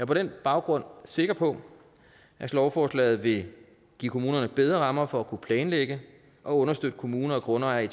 på den baggrund sikker på at lovforslaget vil give kommunerne bedre rammer for at kunne planlægge og understøtte kommuner og grundejere i